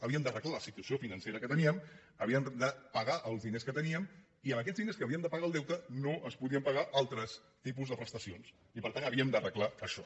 havíem d’arreglar la situació financera que teníem havíem de pagar els diners que teníem i amb aquests diners amb què havíem de pagar el deute no es podien pagar altres tipus de prestacions i per tant havíem d’arreglar això